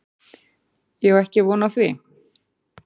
Ég á ekki von á því.